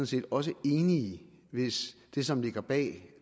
set også enige hvis det som ligger bag